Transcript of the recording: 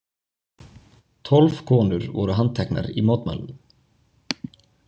Tólf konur voru handteknar í mótmælunum